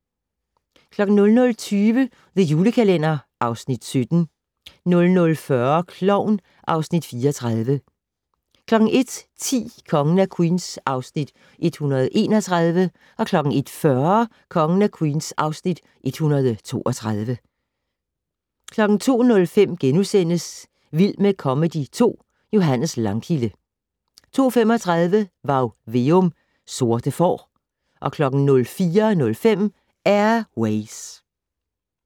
00:20: The Julekalender (Afs. 17) 00:40: Klovn (Afs. 34) 01:10: Kongen af Queens (Afs. 131) 01:40: Kongen af Queens (Afs. 132) 02:05: Vild med comedy 2 - Johannes Langkilde * 02:35: Varg Veum - Sorte får 04:05: Air Ways